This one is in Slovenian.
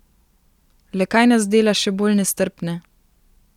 Le kaj nas dela še bolj nestrpne?